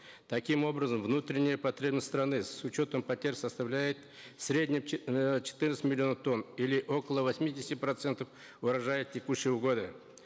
таким образом внутренняя потребность страны с учетом потерь составляет в среднем э четырнадцать миллионов тонн или около восьмидесяти процентов урожая текущего года